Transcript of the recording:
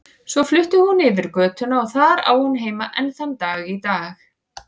Svo flutti hún yfir götuna og þar á hún heima enn þann dag í dag.